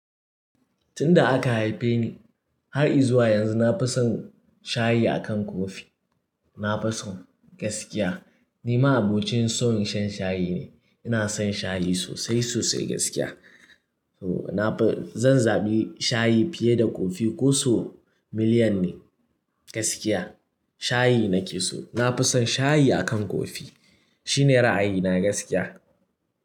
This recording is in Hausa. Tun da aka haife ni har i zuwa yanzu na fi son shayi akan kofi. Na fi son gaskiya. Ni ma abokin son shan shayi ne. Ina son shayi sosai sosai gaskiya. To na fi, zan zaɓi shayi fiye da kofi koso miliyan ne gaskiya. Shayi na ke so. Na fi son shayi akan kofi. Shi ne ra'ayina gaskiya.